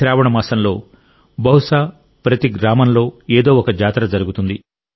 శ్రావణ మాసంలో బహుశా ప్రతి గ్రామంలో ఏదో ఒక జాతర జరుగుతుంది